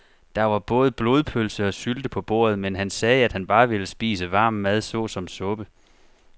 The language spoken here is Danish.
Der var både blodpølse og sylte på bordet, men han sagde, at han bare ville spise varm mad såsom suppe.